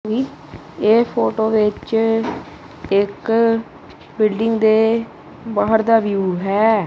ਇਹ ਫੋਟੋ ਵਿੱਚ ਇੱਕ ਬਿਲਡਿੰਗ ਦੇ ਬਾਹਰ ਦਾ ਵਿਊ ਹੈ।